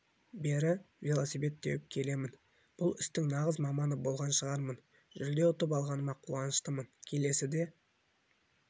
бері велосипед теуіп келемін бұл істің нағыз маманы болған шығармын жүлде ұтып алғаныма қуаныштымын келесіде